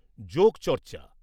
যোগচর্চা